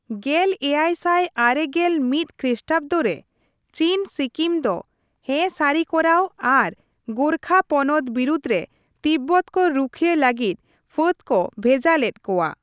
ᱜᱮᱞ ᱮᱭᱟᱭ ᱥᱟᱭ ᱟᱨᱮ ᱜᱮᱞ ᱢᱤᱛ ᱠᱷᱤᱥᱴᱟᱵᱫᱚᱨᱮ, ᱪᱤᱱ ᱥᱤᱠᱤᱢ ᱫᱚ ᱦᱮᱸ ᱥᱟᱹᱨᱤ ᱠᱚᱨᱟᱣ ᱟᱨ ᱜᱳᱨᱠᱷᱟ ᱯᱚᱱᱚᱛ ᱵᱤᱨᱩᱫᱷᱨᱮ ᱛᱤᱵᱵᱚᱛ ᱠᱚ ᱨᱩᱠᱷᱭᱟᱹᱭ ᱞᱟᱹᱜᱤᱫ ᱯᱷᱟᱹᱫ ᱠᱚ ᱵᱷᱮᱡᱟ ᱞᱮᱫ ᱠᱚᱣᱟ ᱾